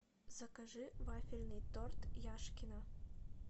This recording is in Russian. закажи вафельный торт яшкино